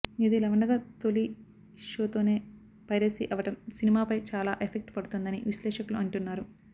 ఇదిలా ఉండగా తొలి షోతోనే పైరసీ అవడం సినిమాపై చాలా ఎఫెక్ట్ పడుతుందని విశ్లేషకులు అంటున్నారు